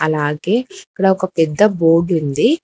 అలాగే ఇక్కడ ఒక పెద్ద బోర్డ్ ఉంది.